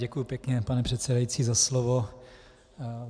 Děkuji pěkně, pane předsedající, za slovo.